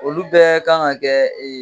Olu bɛɛ kan ŋa kɛ